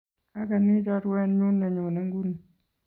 Akanyi chorwet nyun ne nyone nguni.